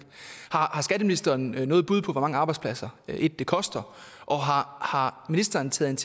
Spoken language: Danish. har skatteministeren noget bud på hvor mange arbejdspladser det koster og har ministeren taget